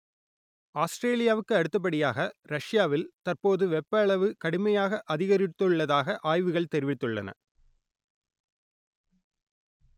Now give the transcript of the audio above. ஆஸ்ட்ரேலியாவுக்கு அடுத்த படியாக ரஷ்யாவில் தற்போது வெப்ப அளவு கடுமையாக அதிகரித்துள்ளதாக ஆய்வுகள் தெரிவித்துள்ளன